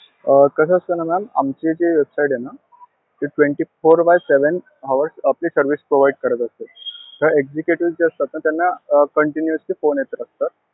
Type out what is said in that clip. अं कसं असतं ना ma'am आमची जी website आहे ना, ती twenty four by seven hours आपली service provide करत असते. तर जे executive असतात ना, त्यांना continuously phone येत असतात.